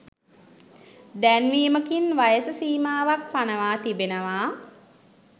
දැන්වීමකින් වයස සීමාවක් පනවා තිබෙනවා